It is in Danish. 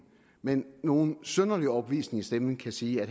med nogen synderlig overbevisning i stemmen kan sige at